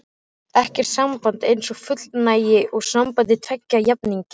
Ekkert samband er eins fullnægjandi og samband tveggja jafningja.